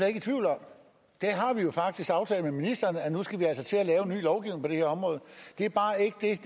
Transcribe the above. ikke i tvivl om og vi har faktisk aftalt med ministeren at vi nu skal til at lave en ny lovgivning her område det er bare ikke det